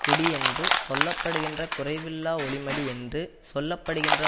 குடியென்று சொல்ல படுகின்ற குறைவில்லா ஒளி மடியென்று சொல்ல படுகின்ற